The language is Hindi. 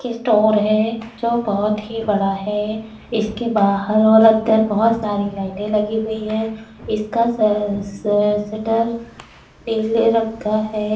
इस्टोर है जो बहोत ही बड़ा है। इसके बहार और अन्दर बहोत सारी लाईटे लगी हुई हैं इसका श-श-शटर नीले रंग का है।